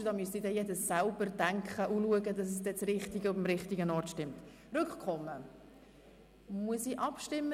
Mit dem ersten wird Rückkommen beantragt, mit dem zweiten Wiederholung der Abstimmung.